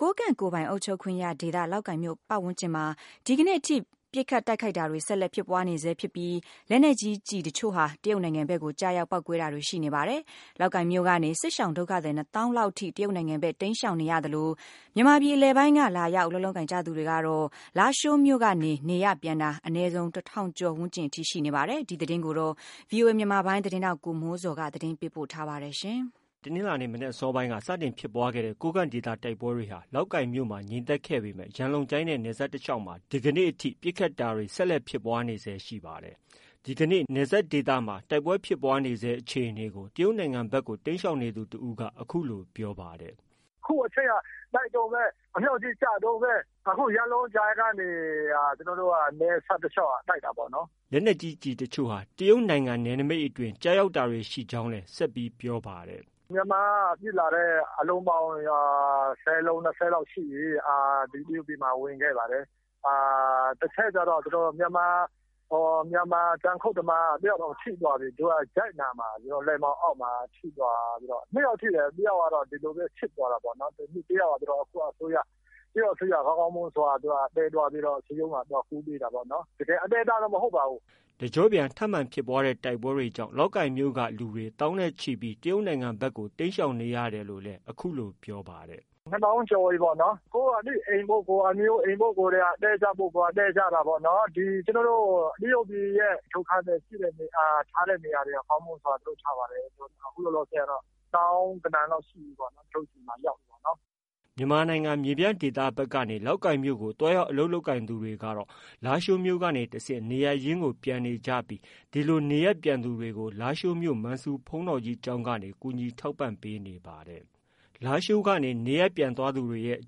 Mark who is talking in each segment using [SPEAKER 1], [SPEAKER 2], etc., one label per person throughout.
[SPEAKER 1] ကိုးကန့်ကိုယ်ပိုင်အုပ်ချုပ်ခွင့်ရဒေသ လောက်ကိုင်မြို့ဝန်းကျင်မှာ ဒီကနေ့ထိ ပစ်ခတ်တိုက်ခိုက်တာတွေ ဆက်လက်ဖြစ်ပွားနေဆဲရှိပြီး လက်နက်ကြီးကျည်တချို့ဟာ တရုတ်နိုင်ငံဘက်ကို ကျရောက် ပေါက်ကွဲတာတွေ ရှိနေပါတယ်။ လောက်ကိုင်မြို့ကနေ စစ်ရှောင်ဒုက္ခသည် ၂သောင်းလောက်ထိ တရုတ်နိုင်ငံဖက် တိမ်းရှောင်နေသလို မြန်မာပြည် အလယ်ပိုင်းက လာရောက်အလုပ်လုပ်ကိုင်သူတွေ ကတော့ လားရှိုးမြို့ကနေ နေရပ်ပြန်တာ အနည်းဆုံး ၁ထောင်ကျော်ဝန်းကျင်အထိရှိနေပါတယ်။ ဒီသတင်းကိုတော့ ဗွီအိုအေမြန်မာပိုင်းရဲ့သတင်းထောက် ကိုမိုးဇော်က တင်ပြထားပါတယ်။ တနင်္လာနေ့ မနက်အစောပိုင်းက စတင်ဖြစ်ပွားခဲ့တဲ့ ကိုးကန့်ဒေသ တိုက်ပွဲတွေဟာ လောက်ကိုင်မြို့မှာ ငြိမ်သက်ခဲ့ပေမယ့် ရန်လုံကျိုင်းနဲ့ နယ်စပ်တလျှောက်မှာ ဒီကနေ့ ပစ်ခတ်တာတွေ ဆက်လက်ဖြစ်ပွားနေဆဲရှိနေပါတယ်။ ဒီကနေ့ နယ်စပ်ဒေသမှာ ဖြစ်ပွားနေဆဲအခြေအနေကို တရုတ်နိုင်ငံဖက်ကို တိမ်းရှောင်နေသူ တဦးက အခုလို ပြောပါတယ်။
[SPEAKER 2] “အခုအထိက တိုက်တုန်းပဲ ၊ အမြောက်တွေလည်းကျတုန်းပဲ ရန်လုံကျိုင်းနဲ့ နယ်စပ်တလျှောက်မှာ တိုက်နေတာ။
[SPEAKER 1] ” လက်နက်ကြီး ကျည်တချို့ဟာ တရုတ်နိုင်ငံနယ်နမိတ်အတွင်း ကျရောက်တာတွေရှိကြောင်းလည်း ဆက်ပြောပါတယ်။
[SPEAKER 2] “မြန်မာက ပစ်လာတဲ့ အလုံးပေါင်း ၁၀ လုံး-၂၀ လုံးလောက်ရှိပြီ ဒီတရုတ်ပြည်မှာ ဝင်ခဲ့ပါတယ်။ တခုတော့ မြန်မာ တောင်ယာခုတ်သမား ၁ ယောက်တောင်ထိသွားပြီ ၊ လက်မောင်းအောက်မှာ ထိသွားတယ်။ ၂ ယောက်ထိတယ် ၁ ယောက်ကတော့ တရုတ်အစိုးရက ကောင်းကောင်းမွန်မွန်သယ်သွားပြီးတော့ တရုတ်မှာ သွားကုပေးတာပေါ့နော်။” တ
[SPEAKER 1] ကျော့ပြန်ထပ်မံဖြစ်ပွားတဲ့ တိုက်ပွဲတွေကြောင့် လောက်ကိုင်မြို့က လူသောင်းနဲ့ချီပြီး တရုတ်နိုင်ငံဖက်ကိုတိမ်းရှောင်နေကြောင်းလည်း ပြောပါတယ်။
[SPEAKER 2] “၂ သောင်းကျော်ပြီပေါ့နော်၊ ကိုယ့်အသိအိမ်၊ ကိုယ့်အမျိုးအိမ်ရှိတဲ့လူတွေက သွားတည်း ကြတာပေါ့နော် ၊ အခု တရုတ်ပြည် ဒုက္ခသည်ထားတဲ့ နေရာတွေက ကောင်းမွန်စွာလုပ်ထားပါတယ်။ အခုလောလောဆယ်ကတော့ သောင်းဂဏန်းလောက်ရှိပြီပေါ့နော် ဒီမှာ ရောက်နေကြတာ။”
[SPEAKER 1] မြန်မာနိုင်ငံ မြေပြန့်ဒေသဖက်ကနေ လောက်ကိုင်မြို့ကို သွားရောက်အလုပ်လုပ်သူတွေကတော့ လားရှိုးကနေတဆင့် နေရပ်ရင်းကို ပြန်နေကြပြီး ဒီလို နေရပ်ပြန်သူတွေကို လားရှိုးမြို့ မန်ဆူဘုန်းတော်ကြီးကျောင်းကနေ ကူညီထောက်ပံ့ပေးနေပါတယ်။ လားရှိုးက နေရပ်ပြန်သွားသူတွေရဲ့ အ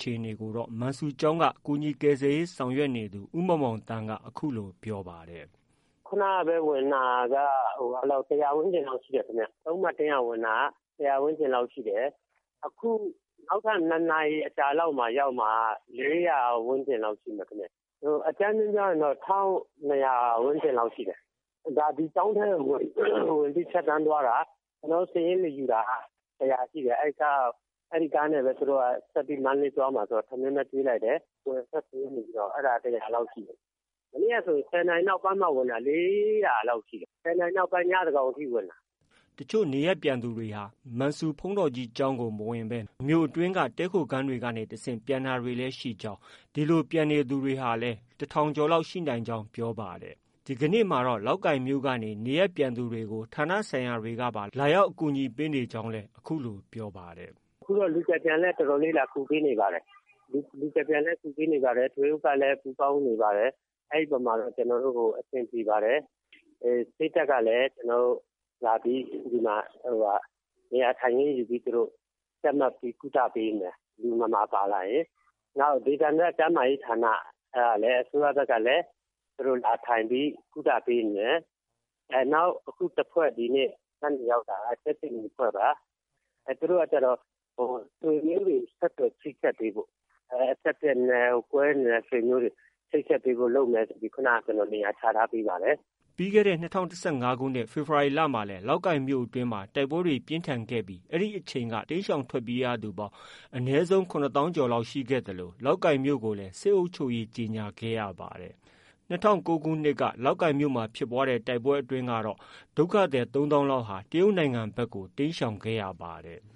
[SPEAKER 1] ခြေအနေကိုတော့ မန်ဆူကျောင်းက ကူညီကယ်ဆယ်ရေး ဆောင်ရွက်နေသူ ဦးမောင်မောင်သန်းက အခုလို ပြောပါတယ်
[SPEAKER 3] ။ “ခုနကပဲ ဝင်လာတာက ၁၀၀ ဝန်းကျင်လောက်ရှိတယ်ခင်ဗျ။ ၃ နာရီလောက်က ဝင်တာက ၁၀၀ ဝန်းကျင်လောက်ရှိတယ်။ အခု နောက်ထပ် ၂ နာရီအကြာမှာ ရောက်မှာက ၄၀၀ ဝန်းကျင်လောက်ရှိမယ်။ အကြမ်းဖျဉ်းပြောရင်တော့ ၁၂၀၀ ဝန်းကျင်လောက်တော့ရှိတယ်ခင်ဗျ။ ဒီကျောင်းထဲဝင်ပြီး ဖြတ်သွားတာ ကျနော်တို့ စာရင်းမယူတာကတော့ ၁၀၀ ကျော်ရှိတယ်ခင်ဗျ။ သူတို့က ကားနဲ့ မန္တလေးသွားမှာဆိုတော့ ကျနော်တို့ ထမင်းတွေကျွေးလိုက်တယ် အဲဒါ ၁၀၀ ကျော်ရှိတယ်ခင်ဗျ ။ မနေ့ကဆိုရင် ၁၀ နာရီနောက်ပိုင်းမှ ဝင်တာ ၄၀၀ လောက်ရှိတယ် ၁၀ နာရီနောက်ပိုင်း ညသန်းခေါင်အထိ ဝင်တာ။
[SPEAKER 1] ” တချို့နေရပ်ပြန်သူတွေဟာ မန်ဆူဘုန်းတော်ကြီးကျောင်းကို မဝင်ဘဲ မြို့အတွင်းက တည်းခိုခန်းတွေကနေတဆင့် ပြန်တာတွေလည်း ရှိကြောင်း၊ ဒီလို ပြန်နေသူတွေဟာလည်း ၁ထောင် ကျော်လောက် ရှိနိုင်ကြောင်း ပြောပါတယ်။ ဒီကနေ့မှာတော့ လောက်ကိုင်ကနေ နေရပ်ပြန်သူတွေကို ဌာနဆိုင်ရာတွေကပါ လာရောက် ကူညီပေးနေကြောင်းလည်း အခုလို ပြောပါတယ်။
[SPEAKER 3] “အခုတော့ လူကယ်ပြန်လည်း တော်တော်လေး လာကူပေးနေပါတယ်။ လူကယ်ပြန်လည်းကူညီတယ် ထွေအုပ်ကလည်း ပူးပေါင်းကူညီနေပါတယ်။ အဲဒီအပေါ်မှာ ကျနော်တို့ အဆင်ပြေပါတယ် စစ်တပ်ကလည်း ဒီမှာ နေရာထိုင်ခင်းယူပြီး ကျပ်မှတ်ပြီးကုသပေးနေပါတယ် လူနာပါလာရင်။ နောက် ဒေသန္တရ ကျန်းမာရေးဌာနကနေပြီးတော့လည်း အစိုးရဘက်ကလည်း သူတို့လာထိုင်ပြီးကုသပေးနေတယ်။ နောက်အခုတဖွဲ့ဒီနေ့ညနေရောက်တာ ကြက်ခြေနီတဖွဲ့ပါ သူတို့က ဆွေမျိုးတွေချိတ်ဆက်ပေးဖို့ ၊ ကွဲနေတဲ့ ဆွေမျိုးတွေ ကိုဆက်သွယ်ပေးဖို့လုပ်မယ်ဆိုပြီး ခုနက ကျနော်နေရာချထားပေးပါတယ်။”
[SPEAKER 1] ပြီးခဲ့တဲ့ ၂၀၁၅ခုနှစ် ဖေဖော်ဝါရီလမှာလည်း လောက်ကိုင်မြို့မှာ တိုက်ပွဲပြင်းထန်ခဲ့ပြီး အဲဒီအချိန်က လောက်ကိုင်မြို့ကနေ တိမ်းရှောင်ထွက်ပြေးရသူပေါင်း အနည်းဆုံး ၇သောင်းကျော်လောက်ရှိခဲ့သလို လောက်ကိုင်မြို့ကိုလည်း စစ်အုပ်ချုပ်ရေးကြေညာခဲ့ရပါတယ်။ ၂၀၀၉ခုနှစ်က ဖြစ်ပွားတဲ့ တိုက်ပွဲအတွင်းမှာတော့ ဒုက္ခသည် ၃သောင်းကျော်လောက် တရုတ်နိုင်ငံဖက်ကို တိမ်းရှောင်ခဲ့ပါတယ်။